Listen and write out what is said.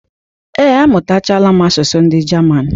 Ee, amụtachago m asụsụ ndị Jaman